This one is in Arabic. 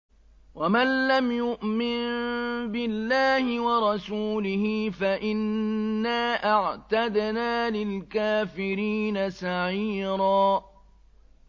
وَمَن لَّمْ يُؤْمِن بِاللَّهِ وَرَسُولِهِ فَإِنَّا أَعْتَدْنَا لِلْكَافِرِينَ سَعِيرًا